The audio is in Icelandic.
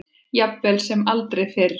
Jafnvel sem aldrei fyrr.